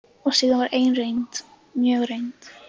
Og síðan var ein reynd, mjög reynd.